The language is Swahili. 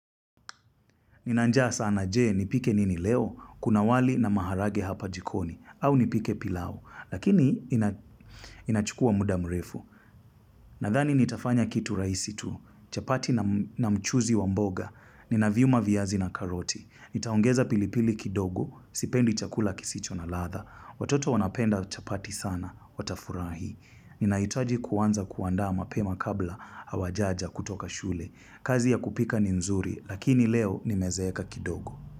Ninanjaa sana jee, nipike nini leo, kuna wali na maharage hapa jikoni, au nipike pilau, lakini inachukua muda mrefu. Nadhani nitafanya kitu raisi tu, chapati na mchuzi wamboga, ninaviuma viyazi na karoti, nitaongeza pilipili kidogo, sipendi chakula kisicho na latha, watoto wanapenda chapati sana, watafurahi. Ni na hitaji kuwanza kuanda mapema kabla awajaja kutoka shule. Kazi ya kupika ni nzuri, lakini leo nimezeeka kidogo.